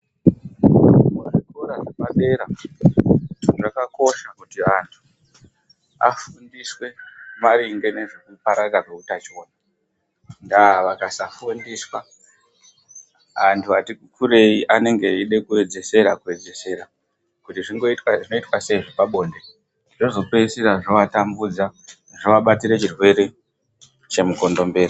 Zvikora zvepadera zvakakosha kuti antu afundiswe maringe nezvekupararira kweutachiona. Ndaa vakasafundiswa, antu ati kurei anenge eide kuedzesera kuedzesera, kuti zvinoitwa sei zvepabonde. Zvozopeisira zvovatambudza, zvovabatire chirwere chemukondombera.